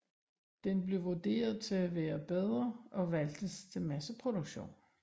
Den blev vurderet til at være bedre og valgtes til masseproduktion